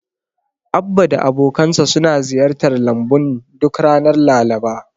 Abba da abokansa suna ziyartar lambun duk ranar Laraba.